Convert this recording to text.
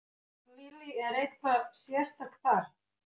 Lillý: Er eitthvað sérstakt þar?